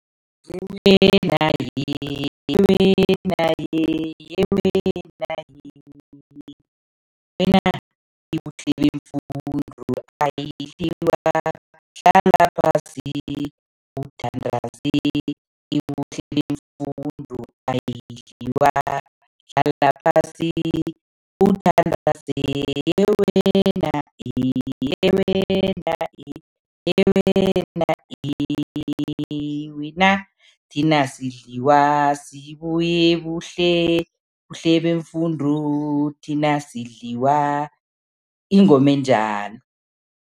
Yeyi wena he yeyi wena he yeyi wena he wena iBuhlebemfundo hlala phasi uthandaze. IBuhlebemfundo ayidliwa, hlala phasi, uthandaze. Yeyi wena he yeyi wena he yeyi wena he wena thina asidliwa, sibuya eBuhle Buhlebemfundo, thina asidliwa, ingoma enjalo.